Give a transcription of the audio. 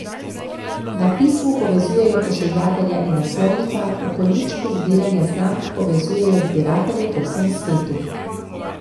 Na pismu povezujejo pošiljatelja in naslovnika, v konjičku zbiranja znamk povezujejo zbiratelje po vsem svetu.